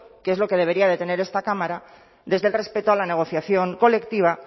que es lo que debería tener esta cámara desde el respeto a la negociación colectiva